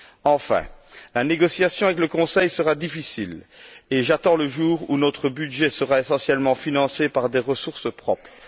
Enfin, la négociation avec le Conseil sera difficile et j'attends le jour où notre budget sera essentiellement financé par des ressources propres.